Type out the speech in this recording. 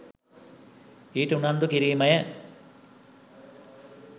ඊට උනන්දු කිරීමය.